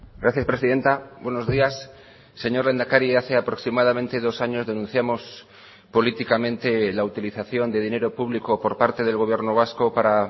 gracias presidenta buenos días señor lehendakari hace aproximadamente dos años denunciamos políticamente la utilización de dinero público por parte del gobierno vasco para